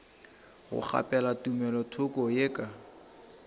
go kgaphela tumelothoko ye ka